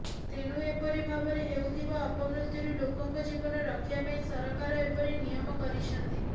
ତେଣୁ ଏପରି ଭାବରେ ହେଉଥିବା ଅପମୃତ୍ୟୁରୁ ଲୋକଙ୍କ ଜୀବନ ରକ୍ଷା ପାଇଁ ସରକାର ଏପରି ନିୟମ କରିଛନ୍ତି